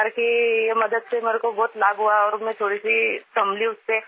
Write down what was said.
सरकार की ये मदद से हमको बहुत लाभ हुआ और में थोड़ी संभली उससे